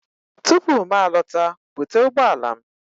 Tupu m alọta, bute ụgbọ ala m!